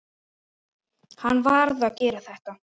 Hann varð að gera þetta.